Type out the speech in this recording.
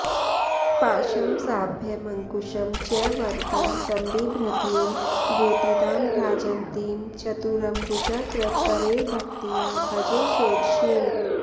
पाशं साभयमङ्कुशं च वरदं सम्बिभ्रतीं भूतिदां भ्राजन्तीं चतुरम्बुजाकृतकरैर्भक्त्या भजे षोडशीम्